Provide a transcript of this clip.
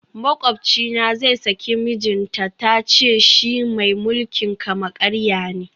Makwabcina zai saki mijinta, ta ce shi mai mulkin kama karya ne